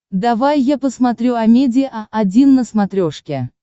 давай я посмотрю амедиа один на смотрешке